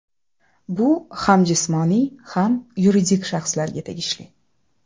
Bu ham jismoniy, ham yuridik shaxslarga tegishli.